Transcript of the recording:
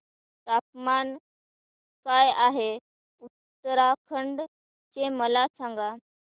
तापमान काय आहे उत्तराखंड चे मला सांगा